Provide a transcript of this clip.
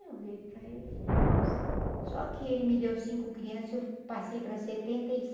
Eu olhei para ele e falei, nossa... Só que ele me deu cinco crianças e eu passei para setenta e